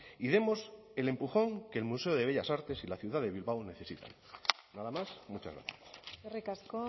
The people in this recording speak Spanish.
y demos el empujón que el museo de bellas artes y la ciudad de bilbao necesitan nada más muchas gracias eskerrik asko